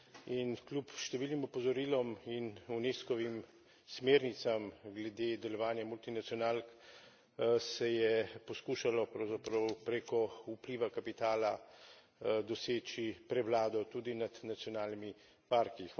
In kljub številnim opozorilom in Unescovim smernicam glede delovanja multinacionalk, se je poskušalo, pravzaprav, preko vpliva kapitala doseči prevlado tudi nad nacionalnimi parki.